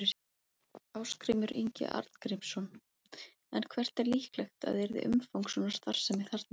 Ásgrímur Ingi Arngrímsson: En hvert er líklegt að yrði umfang svona starfsemi þarna?